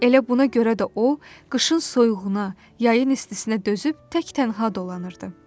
Elə buna görə də o, qışın soyuğuna, yayın istisinə dözüb tək-tənha dolanırdı.